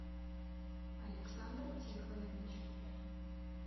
александр тихонович